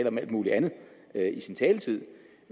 om alt mulig andet i sin taletid